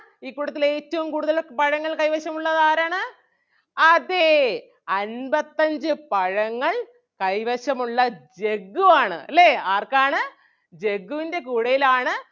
ഈ കൂട്ടത്തിൽ ഏറ്റവും കൂടുതൽ പഴങ്ങൾ കൈവശം ഉള്ളത് ആരാണ് അതെ അൻപത്തഞ്ച് പഴങ്ങൾ കൈവശം ഉള്ള ജഗ്ഗു ആണ് അല്ലേ ആർക്കാണ് ജഗ്ഗുവിൻ്റെ കൂടയിലാണ്.